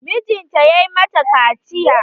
Mijinta ya mata kaciya.